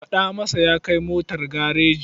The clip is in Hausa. Faɗa masa ya kai motar gareji.